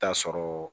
Taa sɔrɔ